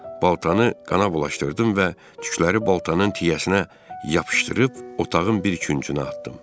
Baltanı qana bulaşdırdım və tükləri baltanın tiyəsinə yapışdırıb otağın bir küncünə atdım.